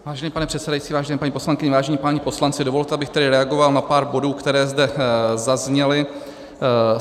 Vážený pane předsedající, vážené paní poslankyně, vážení páni poslanci, dovolte, abych tedy reagoval na pár bodů, které zde zazněly.